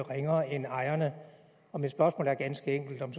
ringere end ejerne og mit spørgsmål er ganske enkelt om